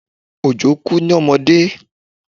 Òjó kú ní ọmọdé